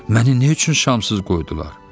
Məni nə üçün şamsız qoydular?